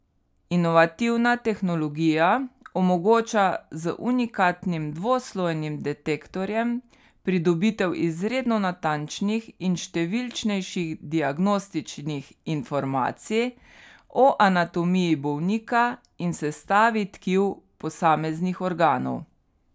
Inovativna tehnologija omogoča z unikatnim dvoslojnim detektorjem pridobitev izredno natančnih in številčnejših diagnostičnih informacij o anatomiji bolnika in sestavi tkiv posameznih organov.